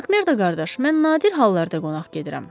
Makmerdo qardaş, mən nadir hallarda qonaq gedirəm.